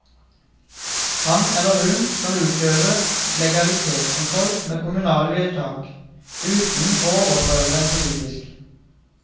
Han eller hun skal utøve legalitetskontroll med kommunale vedtak, uten å overprøve dem politisk.